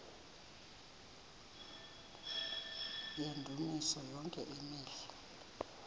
yendumiso yonke imihla